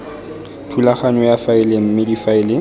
thulaganyo ya faele mme difaele